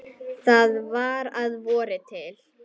Þetta var að vori til.